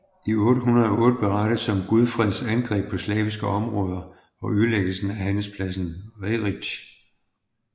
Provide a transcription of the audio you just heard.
I 808 berettes om Gudfreds angreb på slaviske områder og ødelæggelsen af handelspladsen Reric